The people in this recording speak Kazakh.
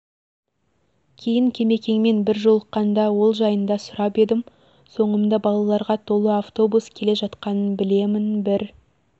кейін кемекеңмен бір жолыққанда ол жайында сұрап едім соңымда балаларға толы автобус келе жатқанын білемін бір